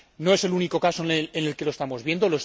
No es el único caso en el que lo estamos viendo.